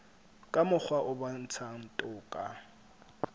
ka mokgwa o bontshang toka